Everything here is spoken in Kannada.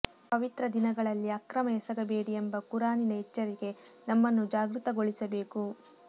ಪವಿತ್ರ ದಿನಗಳಲ್ಲಿ ಅಕ್ರಮ ಎಸಗಬೇಡಿ ಎಂಬ ಕುರಾನಿನ ಎಚ್ಚರಿಕೆ ನಮ್ಮನ್ನು ಜಾಗ್ರತಗೊಳಿಸಬೇಕು